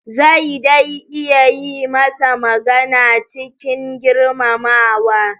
Zai dai iya yi masa magana cikin girmamawa.